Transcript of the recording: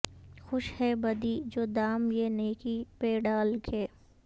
خوش ہے بدی جو دام یہ نیکی پہ ڈال کے